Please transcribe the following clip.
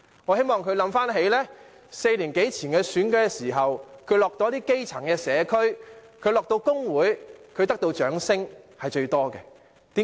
我希望他想起他4年多前參選時，到訪基層社區及工會，得到的掌聲最多，為甚麼？